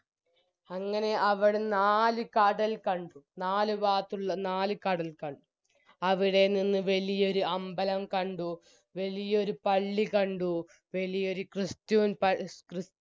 അങ്ങനെ അവിടുന്നു നാല് കടൽ കണ്ടു നാല് ഭാഗത്തുള്ള നാല് കടൽ കണ്ടു അവിടെ നിന്നും വെലിയൊരു അമ്പലം കണ്ടു വലിയൊരു പള്ളി കണ്ടു വലിയൊരു christian പ ക്രിസ്